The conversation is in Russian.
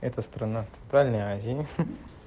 это страна центральной азии ха ха